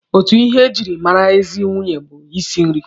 Otu ihe e jiri mara ezi nwunye bụ isi nri.